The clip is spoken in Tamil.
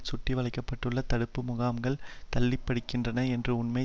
சுற்றி வளைக்கப்பட்டுள்ள தடுப்பு முகாம்களுக்குள் தள்ளப்படுகின்றனர் என்ற உண்மை